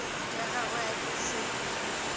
tša gagwe a ka se